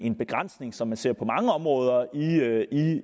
en begrænsning som man ser på mange områder